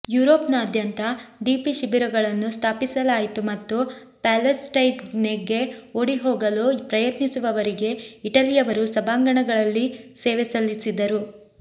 ಯುರೋಪ್ನಾದ್ಯಂತ DP ಶಿಬಿರಗಳನ್ನು ಸ್ಥಾಪಿಸಲಾಯಿತು ಮತ್ತು ಪ್ಯಾಲೆಸ್ಟೈನ್ಗೆ ಓಡಿಹೋಗಲು ಪ್ರಯತ್ನಿಸುವವರಿಗೆ ಇಟಲಿಯವರು ಸಭಾಂಗಣಗಳಲ್ಲಿ ಸೇವೆ ಸಲ್ಲಿಸಿದರು